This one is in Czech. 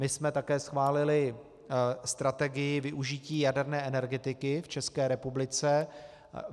My jsme také schválili strategii využití jaderné energetiky v České republice.